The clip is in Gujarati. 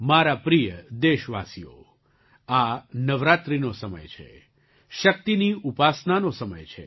મારા પ્રિય દેશવાસીઓ આ નવરાત્રિનો સમય છે શક્તિની ઉપાસનાનો સમય છે